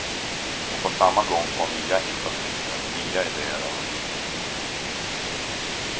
Och på samma gång få nya infallsvinklar, nya idéer av en yngre generation.